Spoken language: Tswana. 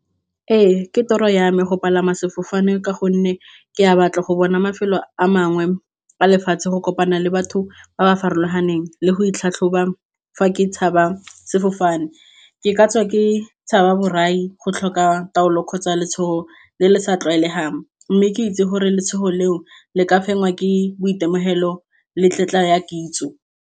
Ee, ke toro ya ame go palama sefofane ka gonne ke a batla go bona mafelo a mangwe a lefatshe go kopana le batho ba ba farologaneng le go itlhatlhoba fa ke tshaba sefofane, ke katswa ke tshaba borai go tlhoka taolo kgotsa letshogo le le sa tlwaelegang, mme ke itse gore letshogo leo le ka fenya ke boitemogelo le tetla ya kitso.